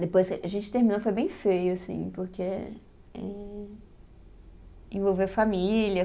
Depois, a gente terminou, foi bem feio, assim, porque en, envolveu família.